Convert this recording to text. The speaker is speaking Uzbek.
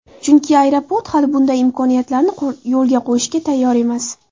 Chunki aeroport hali bunday imkoniyatlarni yo‘lga qo‘yishga tayyor emas.